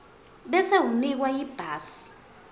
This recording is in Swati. bese unikwa ibhasi